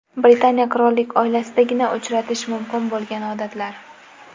Britaniya qirollik oilasidagina uchratish mumkin bo‘lgan odatlar .